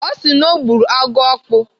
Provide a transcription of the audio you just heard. Ọ sị na ọ gburu agụokpu.